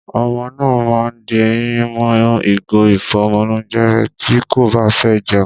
Ọmọ náà ma di eyín mọ́ ìgò ìfọ́mọlónjẹ rẹ̀ tí kò báfẹ́ jẹun.